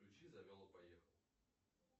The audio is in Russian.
включи завел и поехал